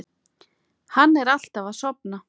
Hann er alltaf að sofna.